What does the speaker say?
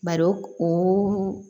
Bari o